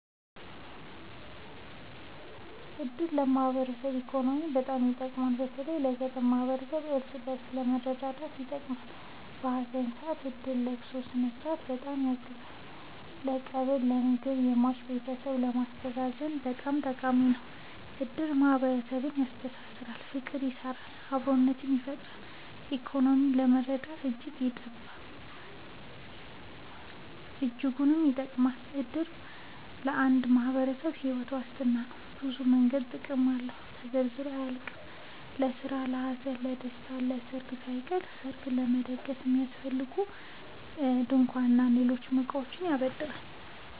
እድር ለማህበራዊ እና ኢኮኖሚያዊ በጣም ይጠቅማል። በተለይ ለገጠር ማህበረሰብ እርስ በእርስ ለመረዳዳት ይጠቅማል። በሀዘን ሰአት እድር የለቅሶውን ስነስርዓት በጣም ያግዛል ለቀብር ለምግብ የሟች ቤተሰብን ለማስተዛዘን በጣም ጠቃሚ ነው። እድር ማህረሰብን ያስተሳስራል። ፍቅር ይሰራል አብሮነትን ይፈጥራል። በኢኮኖሚም ለመረዳዳት እጅጉን ይጠብማል። እድር ለአንድ ማህበረሰብ ሒወት ዋስትና ነው። በብዙ መንገድ ጥቅም አለው ተዘርዝሮ አያልቅም። ለስራ ለሀዘን ለደሰታ። ለሰርግ ሳይቀር ሰርግ ለመደገስ የሚያስፈልጉ ድንኳን እና ሌሎች እቃዎችን ያበድራል